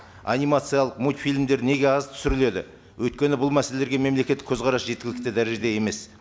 анимациялық мультфильмдер неге аз түсіріледі өйткені бұл мәселелерге мемлекеттік көзқарас жеткілікті дәрежеде емес